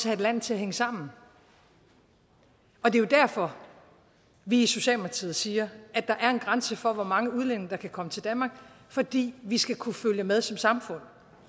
have landet til at hænge sammen og det er jo derfor vi i socialdemokratiet siger at der er en grænse for hvor mange udlændinge der kan komme til danmark fordi vi skal kunne følge med som samfund